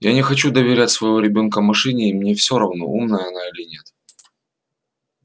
я не хочу доверять своего ребёнка машине и мне всё равно умная она или нет